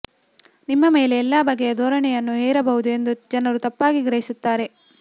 ನಿಮ್ಮ ಮೇಲೆ ಎಲ್ಲಾ ಬಗೆಯ ಧೋರಣೆಯನ್ನು ಹೇರಬಹುದು ಎಂದು ಜನರು ತಪ್ಪಾಗಿ ಗ್ರಹಿಸುತ್ತಾರೆ